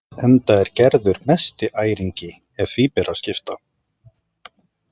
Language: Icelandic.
Enda er Gerður mesti æringi ef því er að skipta.